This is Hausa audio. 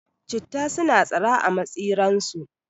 Citta suna tsira a matsi ran su